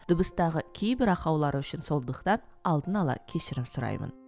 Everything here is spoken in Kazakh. дыбыстағы кейбір ақаулар үшін сондықтан алдын ала кешірім сұраймын